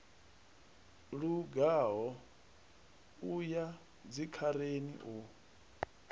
lugaho u ya dzikhareni u